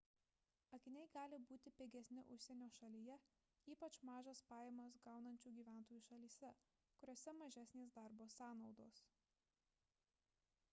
akiniai gali būti pigesni užsienio šalyje ypač mažas pajamas gaunančių gyventojų šalyse kuriose mažesnės darbo sąnaudos